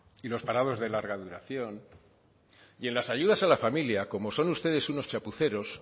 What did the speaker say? y los parados de larga duración y en las ayudas a la familia como son ustedes unos chapuceros